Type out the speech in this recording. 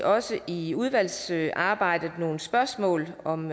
også i udvalgsarbejdet nogle spørgsmål om